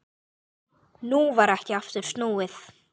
Nú varð ekki aftur snúið.